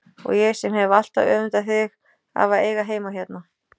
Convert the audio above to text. Og ég sem hef alltaf öfundað þig af að eiga heima hérna!